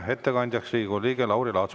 Ettekandja on Riigikogu liige Lauri Laats.